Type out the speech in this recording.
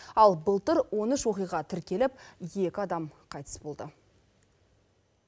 ал былтыр он үш оқиға тіркеліп екі адам қайтыс болды